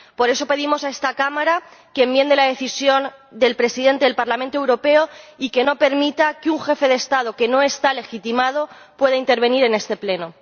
Por eso, pedimos a esta Cámara que enmiende la decisión del Presidente del Parlamento Europeo y que no permita que un jefe de Estado que no está legitimado pueda intervenir en este Pleno.